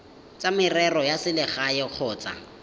tsa merero ya selegae kgotsa